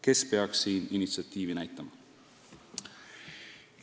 Kes peaks siin initsiatiivi näitama?